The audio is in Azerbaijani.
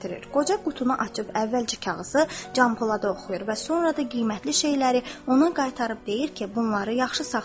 Qoca qutunu açıb əvvəlcə kağızı Canpolada oxuyur və sonra da qiymətli şeyləri ona qaytarıb deyir ki, bunları yaxşı saxlayın.